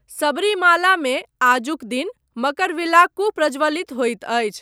सबरीमालामे आजुक दिन मकरविलाक्कू प्रज्वलित होइत अछि।